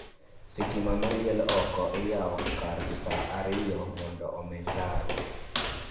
Stima maliel oko iyao kar sa ariyo mondo omeny laro